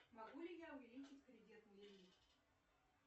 могу ли я увеличить кредитный лимит